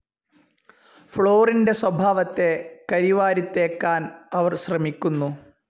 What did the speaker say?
ഫ്ലോറിൻ്റെ സ്വഭാവത്തെ കരിവാരിത്തേക്കാൻ അവർ ശ്രമിക്കുന്നു.